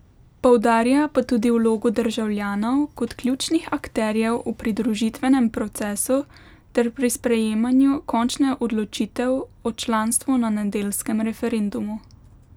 Poudarja pa tudi vlogo državljanov kot ključnih akterjev v pridružitvenem procesu ter pri sprejemanju končne odločitev o članstvu na nedeljskem referendumu.